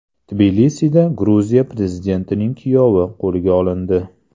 Tbilisida Gruziya prezidentining kuyovi qo‘lga olindi.